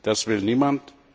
Das will niemand.